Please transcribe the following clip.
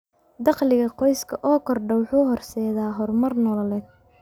Dakhliga qoyska oo kordha wuxuu horseedaa horumar nololeed.